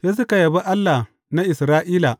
Sai suka yabi Allah na Isra’ila.